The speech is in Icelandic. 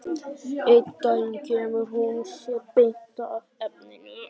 Einn daginn kemur hún sér beint að efninu.